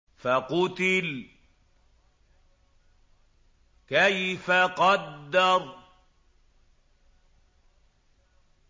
فَقُتِلَ كَيْفَ قَدَّرَ